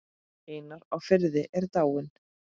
Einar á Firði er dáinn.